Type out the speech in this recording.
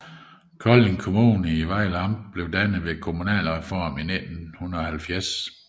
Kolding Kommune i Vejle Amt blev dannet ved kommunalreformen i 1970